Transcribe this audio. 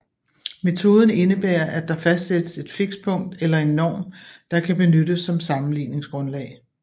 Metoden indebærer at der fastsættes et fikspunkt eller en norm der kan benyttes som sammenligningsgrundlag